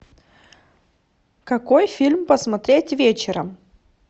какой фильм посмотреть вечером